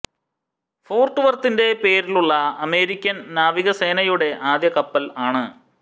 fort വർത്തിന്റെ പേരിലുള്ള അമേരിക്കൻ നാവികസേനയുടെ ആദ്യ കപ്പൽ ആണ്